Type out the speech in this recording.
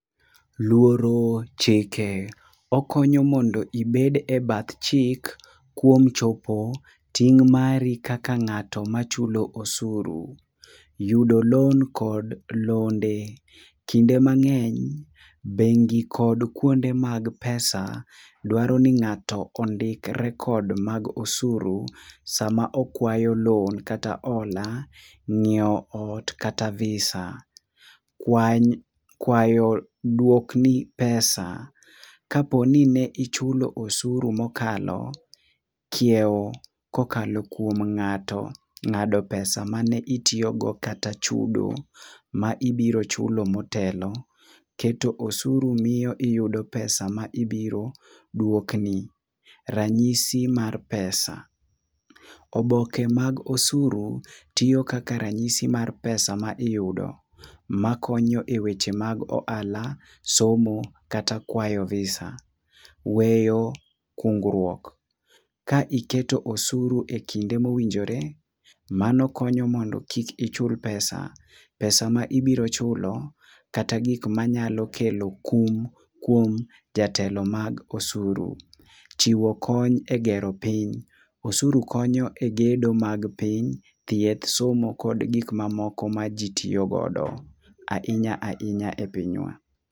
Luoro chike. Okonyo mondo ibed ebath chik kuom chopo ting' mari kaka ng'ato machulo osuru. Yudo loan kod londe. Kinde mang'eny, bengi kod kuonde mag pesa, dwaro ni ng'ato rekod mag osuru sama okwayo loan kata hola, ng'iewo ot kata visa, kwayo duokni pesa kaponi ne ichulo osuru mokalo kiewo kokalo kuom ng'ato ng'ado pesa mane itiyogo kata chudo mane ibiro chulo motelo. Keto osuru miyo ibiro yudo pesa ma ibiro duokni. Oboke mag osuru tiyo kaka ranyisi mar pesa ma iyudo makonyo eweche mag ohala, somo kata kwayo visa. Weyo kungruok. Ka iketo osuru ekinde mowinjore, mano konyo mondo kik ichul pesa, pesa ma ibiro chulo, kata gik manyalo kelo kum kuom jatelo mag osuru. Chiwo kony egero piny. Osuru konyo egedo mag piny, thieth, somo kod gik mamoko maji tiyo godo, ahinya ahinya e pinywa.